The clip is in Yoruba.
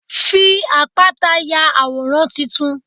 Fi àpáta ya àwòrán titun.